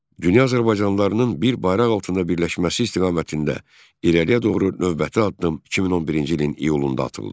Dünya azərbaycanlılarının bir bayraq altında birləşməsi istiqamətində irəliyə doğru növbəti addım 2011-ci ilin iyulunda atıldı.